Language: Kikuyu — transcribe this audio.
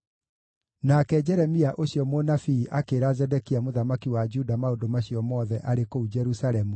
Nake Jeremia ũcio mũnabii akĩĩra Zedekia mũthamaki wa Juda maũndũ macio mothe, arĩ kũu Jerusalemu,